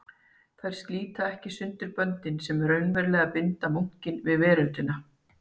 Þær slíta ekki sundur böndin sem raunverulega binda munkinn við veröldina.